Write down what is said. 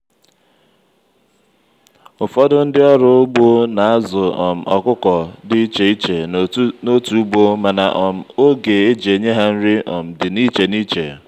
ụfọdụ ndị ọrụ ugbo n'azu um ọkụkọ dị ichè ichè n'otu ugbo mana um ógè eji enye ha nri um dị n'iche n'iche.